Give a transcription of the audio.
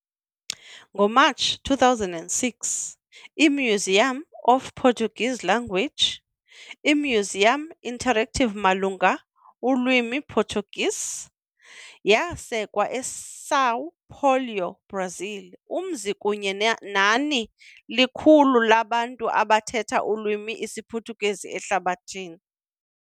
NgoMatshi 2006, i-Museum of the Portuguese Language, i imyuziyam interactive malunga ulwimi Portuguese, yasekwa e São Paulo, Brazil, umzi kunye nani likhulu labantu abathetha ulwimi isiPhuthukezi ehlabathini.